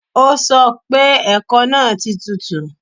O sọ pé ẹ̀kọ náà ti tutù